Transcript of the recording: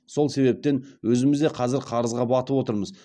сол себептен өзіміз де қазір қарызға батып отырмыз